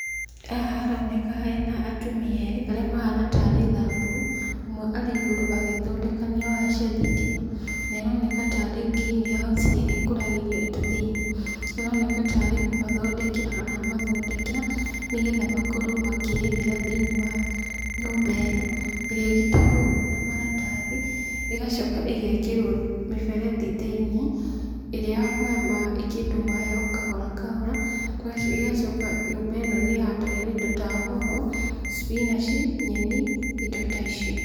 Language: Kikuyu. Haha haroneka hena atumia erĩ arĩa mahuana tarĩ thamburu ũmwe arĩ igũrũ agĩthondekania waya cia thitima ne ĩroneka tarĩ green house ĩrĩa ĩkũragĩrio indo thĩini, araoneka tarĩ kũmathondekera aramathondekera nĩ getha makorwo makĩrĩmĩra thĩiniĩ wa nyũmba ĩno ĩrĩa ĩgitagwo ũguo na maratathi ĩgacoka ĩgekĩrwo mĩberethi thĩini ĩrĩa ya kũhe kĩndũ maĩ kahora kahora ĩgacoka nyũmba ĩno nĩ ĩhandagĩrwo indo ta hoho, cipinaci, nyeni, indo ta icio.